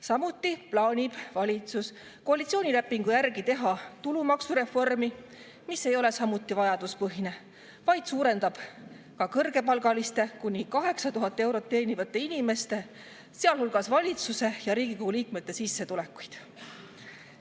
Samuti plaanib valitsus koalitsioonilepingu järgi teha tulumaksureformi, mis ei ole samuti vajaduspõhine, vaid suurendab ka kõrgepalgaliste, kuni 8000 eurot teenivate inimeste, sealhulgas valitsuse ja Riigikogu liikmete sissetulekuid.